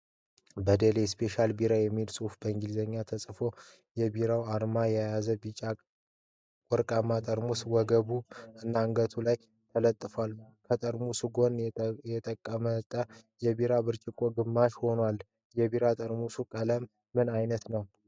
"በደሌ ስፔሻል ቢር" የሚል ፅሁፍ በእንግሊዘኛ ተፅፏል። የቢሬዉን አርማ የያዘ ቢጫ ወረቀት ጠርሙሱ ወገቡ እና አንገት ላይ ተለጥፏል። ከጠርሙሱ ጎን የጠቀመጠ የቢራ ብርጭቆ ግማሽ ሆኗል። የቢራ ጠርሙሱ ቀለም ምን አይነት ነዉ?